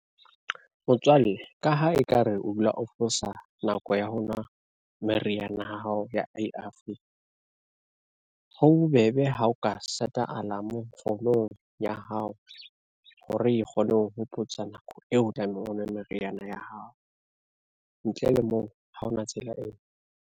Motswalle ka ha ekare o dula o fosa nako ya ho nwa meriana ya hao ya A_R_V. Ho bobebe ha o ka set-a alarm ya hao, hore e kgone ho hopotsa nako eo o tlamehang o nwe meriana ya hao. Ntle le moo ha ona tsela e ngwe.